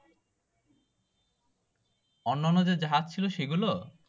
অন্যনো যে জাহাজ ছিল সেগুলো